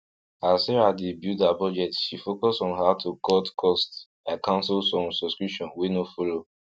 as sarah dey build her budget she focus on how to cut cost by cancel some subscription wey no follow